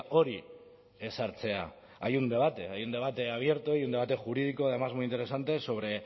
hori ezartzea hay un debate hay un debate abierto y un debate jurídico además muy interesante sobre